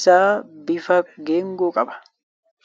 isaa bifa geengoo qaba .